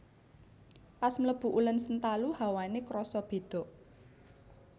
Pas mlebu Ulen Sentalu hawane kroso bedo